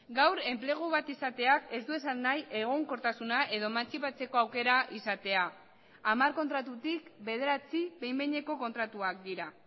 gaur enplegu bat izateak ez du esan nahi egonkortasuna edo emantzipatzeko aukera izatea hamar kontratutik bederatzi behin behineko kontratuak dira